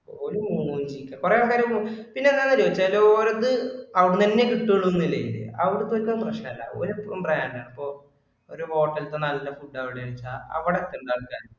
ഒരു മൂന്നുമണിക്ക് ഒക്കെ, കുറെ ആൾക്കാര് പിന്നെ എന്താന്നറിയുവോ ചിലഓരക്കു അവിടുന്ന് തന്നെയേ കിട്ടുവുള്ളു ഒന്നില്ല്‌ അവർക്കു ഒട്ടും പ്രശ്നവല്ല. ഒരെതിർപ്പും പറയാനില്ല ഇപ്പൊ ഒരു hotel ഇൽതെ നല്ല food അവിടെ യാണ് വെച്ച അവിടെ കേറും ആൾക്കാര്